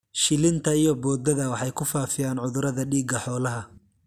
Shilinta iyo boodada waxay ku faafiyaan cudurada dhiiga xoolaha.